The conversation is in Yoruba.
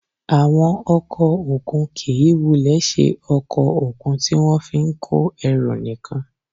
Àwọn ọkọ̀ òkun kì í wulẹ̀ ṣe ọkọ̀ òkun tí wọ́n fi ń kó ẹrù nìkan